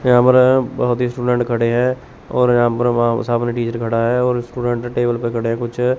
camera है बहोत student खड़े हैं और यहां पर म सामने टीचर खड़ा है और स्टूडेंट टेबल पे खड़े है कुछ --